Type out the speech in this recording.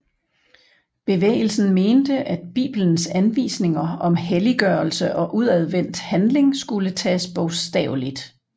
Bevægelsen mente at Bibelens anvisninger om helliggørelse og udadvendt handling skulle tages bogstaveligt